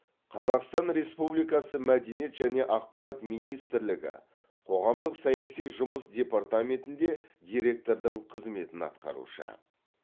қазақстан республикасы мәдениет және ақпарат министрлігі қоғамдық саяси жұмыс департаментінде диреткордың қызметін атқарушы